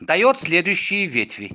даёт следующие ветви